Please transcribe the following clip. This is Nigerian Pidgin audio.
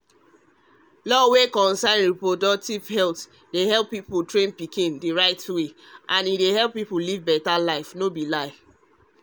law wey concern reproductive health dey help people train pikin the right wayand help everybody live better lifeno be lie